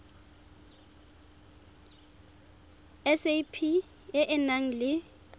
sap e e nang le